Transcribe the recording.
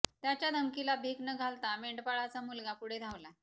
त्याच्या धमकीला भीक न घालता मेंढपाळाचा मुलगा पुढे धावला